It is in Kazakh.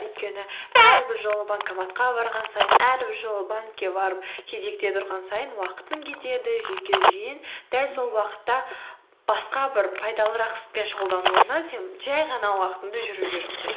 өйткені әрбір жолы банкоматқа барған сайын әрбір жолы банкке барып кезекте тұрған сайын уақытың кетеді жүйке жүйең дәл сол уақытта басқа бір пайдалырақ іспен шұғылданудың орнына сен жай ғана уақытыңды жүруге жұмсайсың